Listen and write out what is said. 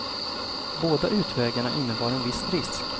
Båda utvägarna innebar en viss risk.